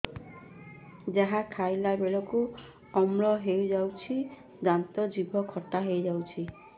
ଯାହା ଖାଇଲା ବେଳକୁ ଅମ୍ଳ ହେଇଯାଉଛି ଦାନ୍ତ ଜିଭ ଖଟା ହେଇଯାଉଛି